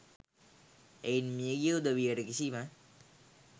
එයින් මියගිය උදවියට කිසිම